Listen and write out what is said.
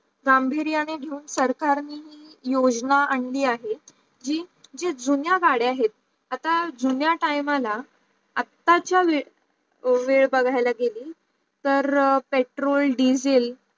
Zambia झूम सरकारने योजना आणली आहे की जे जे जुन्या गाडी आहेत आता जुन्या time ला आता चा वेड बगाल्या गेली तर पेट्रोल डिज़ल